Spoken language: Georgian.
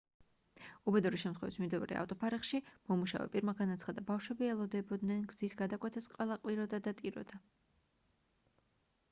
უბედური შემთხვევის მიმდებარე ავტოფარეხში მომუშავე პირმა განაცხადა ბავშვები ელოდებოდნენ გზის გადაკვეთას ყველა ყვიროდა და ტიროდა